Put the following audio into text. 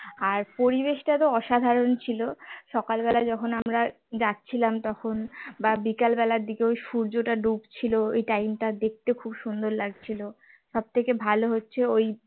আর পরিবেশটা অসাধারণ ছিল সকালবেলা যখন আমরা যাচ্ছিলাম তখন বা বিকেল বেলার দিকে ও সূর্যটা ডুব ছিল ওই time টা দেখতে খুব সুন্দর লাগছিল সবথেকে ভাল হচ্ছে ঐ